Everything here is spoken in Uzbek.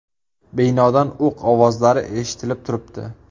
Binodan o‘q ovozlari eshitilib turibdi.